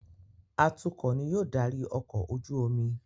Atukọ̀ ní yóò darí ọkọ̀-ojú-omi